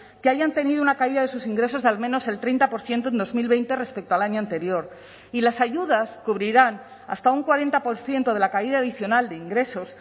que hayan tenido una caída de sus ingresos de al menos el treinta por ciento en dos mil veinte respecto al año anterior y las ayudas cubrirán hasta un cuarenta por ciento de la caída adicional de ingresos